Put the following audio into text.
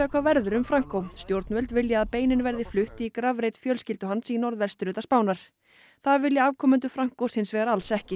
hvað verður um stjórnvöld vilja að beinin verði flutt í grafreit fjölskyldu hans í norðvesturhluta Spánar það vilja afkomendur Francos hins vegar alls ekki